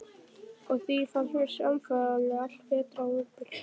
Og á því fannst mér samfélagið allt bera ábyrgð.